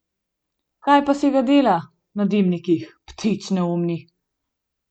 Kaj pa si ga dela na dimnikih, ptič neumni!